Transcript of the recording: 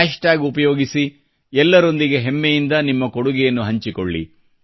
hash tag ಉಪಯೋಗಿಸಿ ಎಲ್ಲರೊಂದಿಗೆ ಹೆಮ್ಮೆಯಿಂದ ನಿಮ್ಮ ಕೊಡುಗೆಯನ್ನು ಹಂಚಿಕೊಳ್ಳಿ